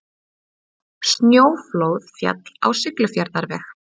Snjóflóð féll á Siglufjarðarveg